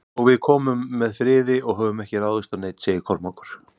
Og við komum með friði og höfum ekki ráðist á neinn, sagði Kormákur.